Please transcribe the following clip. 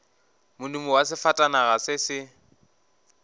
modumo wa sefatanaga se se